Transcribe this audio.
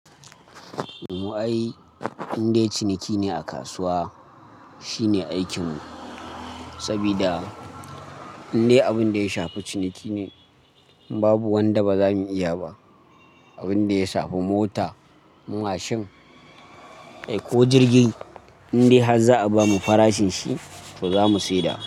Mu ai, inde ciniki ne a kasuwa shine aikinmu sabida inde abin da ya shafi ciniki ne babu wanda ba za mu iya ba. Abin da ya shafi mota, mashin ko jirgi indai har za a bamu farashin shi to za mu saida.